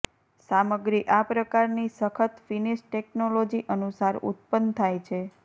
સામગ્રી આ પ્રકારની સખત ફિનિશ ટેકનોલોજી અનુસાર ઉત્પન્ન થાય છે